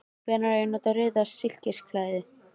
Hvenær á ég að nota rauða silkislæðu?